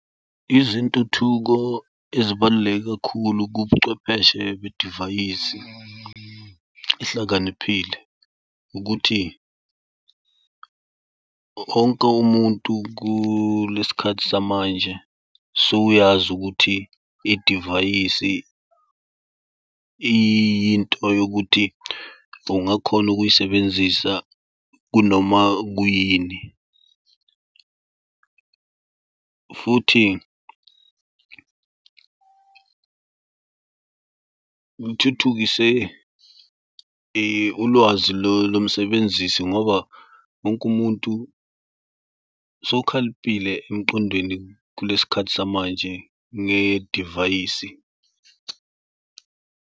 Izintuthuko ezibaluleke kakhulu kubuchwepheshe bedivayisi ehlakaniphile ukuthi wonke umuntu kulesi khathi samanje sowuyazi ukuthi idivayisi iyinto yokuthi ungakhona ukuyisebenzisa kunoma kuyini, futhi kuthuthukise ulwazi lomsebenzisi ngoba wonke umuntu sowukhaliphile emqondweni kulesi khathi samanje ngedivayisi.